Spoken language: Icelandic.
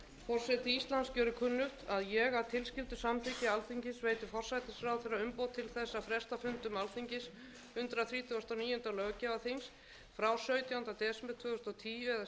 og níunda löggjafarþings frá sautjándu desember tvö þúsund og tíu eða síðar ef nauðsyn krefur til sautjándu janúar tvö þúsund og